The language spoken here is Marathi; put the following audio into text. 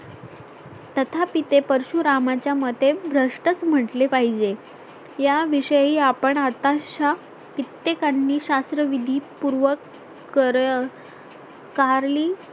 तथापि ते परशुरामाच्या मते भ्रष्ट च म्हटले पाहिजे याविषयी आपण आता शा कित्येकांनी शास्त्र विधी पूर्व कर कारली